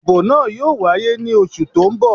Ìbò náà yóò wáyé ní oṣù tó n bọ̀